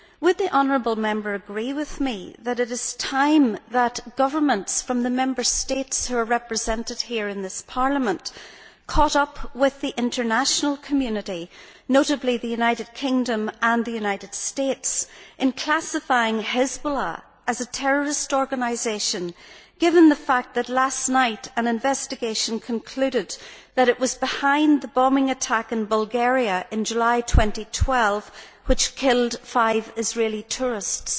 Would you agree with me that it is time that governments from the Member States who are represented here in this Parliament caught up with the international community, notably the United Kingdom and the United States, in classifying Hezbollah as a terrorist organisation, given the fact that last night an investigation concluded that it was behind the bombing attack in Bulgaria in July 2012 which killed five Israeli tourists?